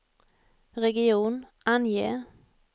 region, ange